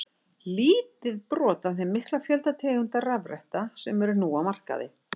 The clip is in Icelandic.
Lítið brot af þeim mikla fjölda tegunda rafretta sem eru á markaði.